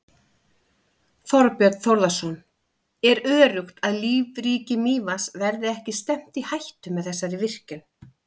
Þorbjörn Þórðarson: Er öruggt að lífríki Mývatns verði ekki stefnt í hættu með þessari virkjun?